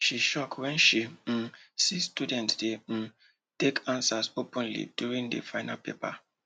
she shock when she um see students dey um talk answers openly during the final paper